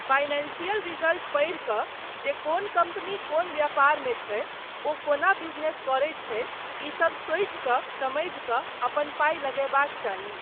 Financial result पढ़ि कऽ जे कोन कम्पनी कोन व्यापारमे छै, ओ कोना बिजनेस करैत छै, ईसब सोचि कऽ समझि कऽ अपन पाइ लगयबाक चाही।